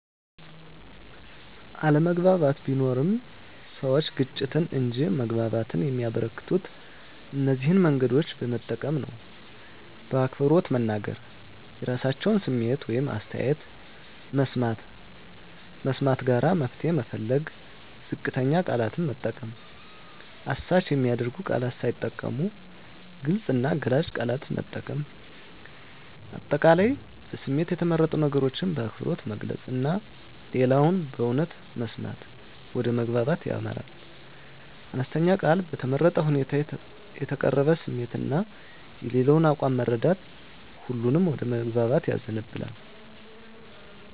አለመግባባት ቢኖርም፣ ሰዎች ግጭትን እንጂ መግባባትን የሚያበረከቱት እነዚህን መንገዶች በመጠቀም ነው በአክብሮት መናገር – የራሳቸውን ስሜት ወይም አስተያየት መስማት ጋራ መፍትሄ መፈለግ ዝቅተኛ ቃላት መጠቀም – አሳች የሚያደርጉ ቃላት ሳይጠቀሙ ግልጽ እና ገላጭ ቃላት መምረጥ። አጠቃላይ በስሜት የተመረጡ ነገሮችን በአክብሮት መግለጽ እና ሌላውን በእውነት መስማት ወደ መግባባት ያመራል። አነስተኛ ቃል በተመረጠ ሁኔታ የተቀረበ ስሜት እና የሌላው አቋም መረዳት ሁሉንም ወደ መግባባት ያዘንባል።